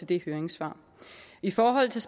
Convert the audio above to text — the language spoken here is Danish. det høringssvar i forhold til